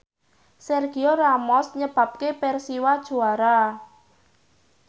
Sergio Ramos nyebabke Persiwa juara